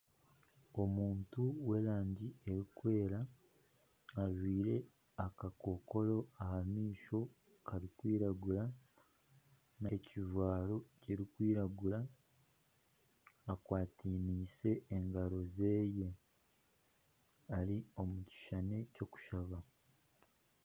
Omuntu w'erangi erikwera ajwire akakokora aha maisho karikwiragura omu kijwaro kirikwiragura, akwataniise engaro ze, ari omu kishushani ky'okushaba